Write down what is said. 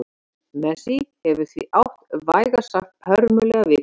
Messi hefur því átt vægast sagt hörmulega viku.